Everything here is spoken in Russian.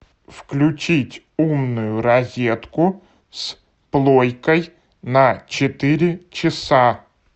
включить умную розетку с плойкой на четыре часа